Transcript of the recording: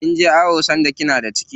Kinje awo sanda kina da ciki?